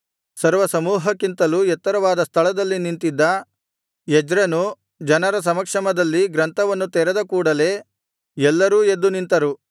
ಸರ್ವಸಮೂಹಕ್ಕಿಂತಲೂ ಎತ್ತರವಾದ ಸ್ಥಳದಲ್ಲಿ ನಿಂತಿದ್ದ ಎಜ್ರನು ಜನರ ಸಮಕ್ಷಮದಲ್ಲಿ ಗ್ರಂಥವನ್ನು ತೆರೆದ ಕೂಡಲೆ ಎಲ್ಲರೂ ಎದ್ದು ನಿಂತರು